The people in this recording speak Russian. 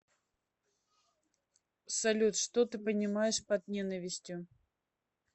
салют что ты понимаешь под ненавистью